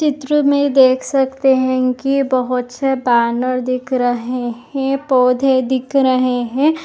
इस चित्र में देख सकते है की यह बहुत से बॅनर दिख रहे है पौधे दिख रहे है।